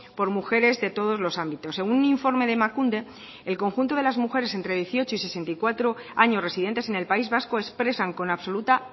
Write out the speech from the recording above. por mujeres de todos los ámbitos según un informe de emakunde el conjunto de las mujeres entre dieciocho y sesenta y cuatro años residentes en el país vasco expresan con absoluta